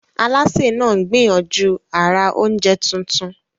Alásè náà ń gbìyànjú àrà oúnjẹ tuntun.